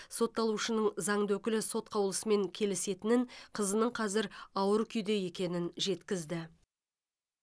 сотталушының заңды өкілі сот қаулысымен келісетінін қызының қазір ауыр күйде екенін жеткізді